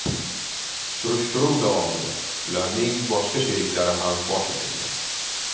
Surishtiruv davomida ularning boshqa sheriklari ham fosh etilgan.